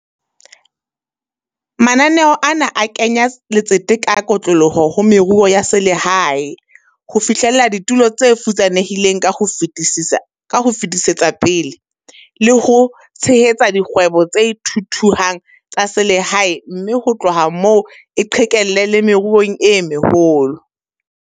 Mananeo ana a kenya letsete ka kotloloho ho meruo ya selehae, ho fihlella ditulo tse futsanehileng ka ho fetisetsa pele, le ho tshehetsa dikgwebo tse thuthuhang tsa selehae mme ho tloha moo e qhekelle le meruong e meholo.